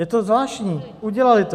Je to zvláštní, udělaly to.